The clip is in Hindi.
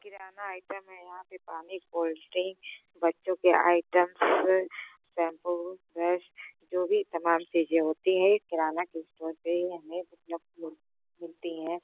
किराना आइटम है यहां पे पानी गोल्डिंग बच्चों के आइटम्स पैमपो फ्रेश जो भी तमाम चीजें होती हैं किराना के स्टोर पे ही हमें मतलब मिलती हैं।